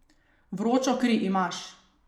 Vročo kri imaš.